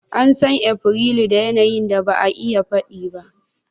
An san Afrilu da yanayin da ba a iya faɗi ba.